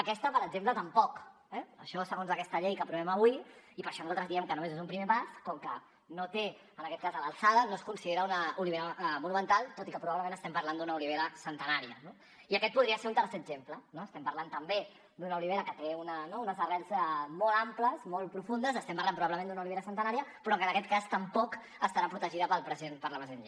aquesta per exemple tampoc eh això segons aquesta llei que aprovem avui i per això nosaltres diem que només és un primer pas com que no té en aquest cas l’alçada no es considera una olivera monumental tot i que probablement estem parlant d’una olivera centenària no i aquest podria ser un tercer exemple no estem parlant també d’una olivera que té no unes arrels molt amples molt profundes estem parlant probablement d’una olivera centenària però que en aquest cas tampoc estarà protegida per la present llei